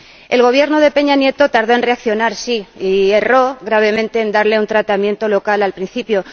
El Gobierno de Peña Nieto tardó en reaccionar, sí, y erró gravemente al darle un tratamiento local al principio.